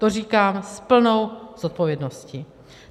To říkám s plnou zodpovědností.